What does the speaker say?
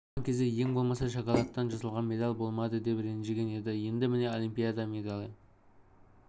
алған кезде ең болмаса шоколадтан жасалған медаль болмады деп ренжіген еді енді міне олимпиада медалі